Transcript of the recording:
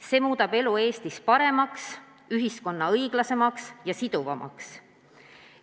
See muudab elu Eestis paremaks, ühiskonna õiglasemaks ja sidusamaks.